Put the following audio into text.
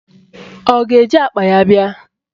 Ọ ga-eji akpa ya bịa?